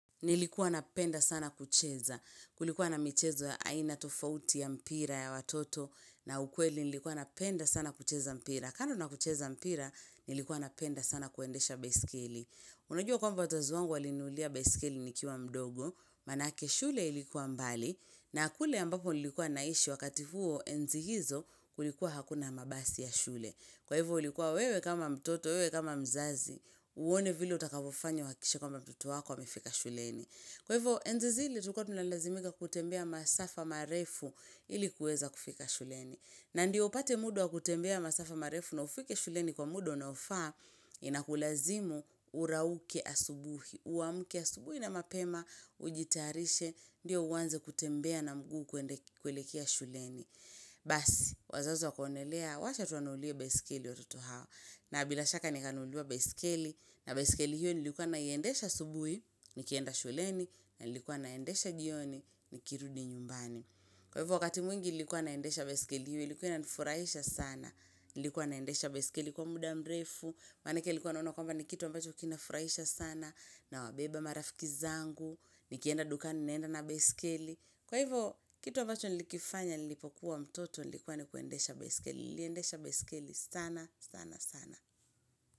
Nilikuwa napenda sana kucheza, kulikuwa na michezo ya aina tofauti ya mpira ya watoto na ukweli nilikuwa napenda sana kucheza mpira. Kando na kucheza mpira, nilikuwa napenda sana kuendesha baiskeli. Unajua kwa wazazi wangu walininunulia basikeli nikiwa mdogo, maanake shule ilikuwa mbali, na kule ambapo nilikuwa naishi wakati huo, enzi hizo kulikuwa hakuna mabasi ya shule. Kwa hivyo ulikuwa wewe kama mtoto, wewe kama mzazi, uone vile utakavyofanya uhakikishe kwamba mtoto wako amefika shuleni. Kwa hivyo, enzi zile, tulikuwa tunalazimika kutembea masafa marefu ili kuweza kufika shuleni. Na ndiyo upate muda wa kutembea masafa marefu na ufike shuleni kwa muda wa unaofaa, inakulazimu urauke asubuhi, uamke asubuhi na mapema, ujitayarishe, ndiyo uanze kutembea na mguu kuelekea shuleni. Basi, wazazi wakaonelea wacha tuwanunulie baiskeli watoto hawa. Na bila shaka nikanunuliwa baiskeli. Na baiskeli hiyo nilikuwa naiendesha asubuhi nikienda shuleni, na nilikuwa naendesha jioni nikirudi nyumbani Kwa hivyo, wakati mwingi nilikuwa naendesha baiskeli hiyo, ilikuwa inanifurahisha sana. Nilikuwa naendesha baiskeli kwa muda mrefu, manake alikuwa anaona kwamba ni kitu ambacho kinafurahisha sana Nawabeba marafiki zangu. Nikienda dukani naenda na baiskeli. Kwa hivyo, kitu ambacho nilikifanya nilipokuwa mtoto ilikuwa ni kuendesha baiskeli, niliendesha baiskeli sana, sana, sana.